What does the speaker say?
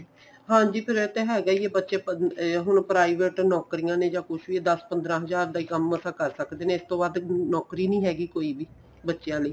ਹਾਂਜੀ ਫੇਰ ਉਹ ਤਾਂ ਹੈਗਾ ਈ ਬੱਚੇ ਪੜ੍ਹਣ ਹੁਣ private ਨੋਕਰੀਆਂ ਨੇ ਕੁੱਝ ਵੀ ਦਸ ਪੰਦਰਾਂ ਹਜ਼ਾਰ ਦੇ ਕੰਮ ਈ ਮਸਾ ਕਰ ਸਕਦੇ ਨੇ ਇਸ ਤੋਂ ਵੱਧ ਨੋਕਰੀ ਨੀਂ ਹੈਗੀ ਕੋਈ ਵੀ ਬੱਚਿਆਂ ਲਈ